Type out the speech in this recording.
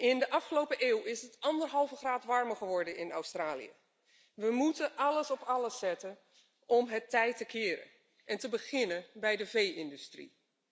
In de afgelopen eeuw is het anderhalve graad warmer geworden in Australië. We moeten alles op alles zetten om het tij te keren, te beginnen bij de vee industrie.